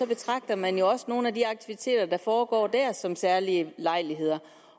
betragter man jo også nogle af de aktiviteter der foregår der som særlige lejligheder